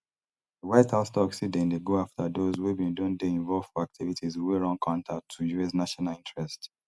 di white house tok say dem dey go afta those wey bin don dey involve for activities wey run counter to us national interests